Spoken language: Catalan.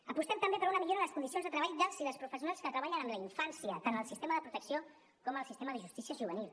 apostem també per una millora en les condicions de treball dels i les professionals que treballen amb la infància tant al sistema de protecció com al sistema de justícia juvenil